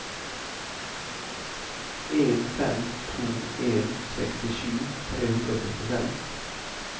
en fem to en sekstisju tre hundre og førtifem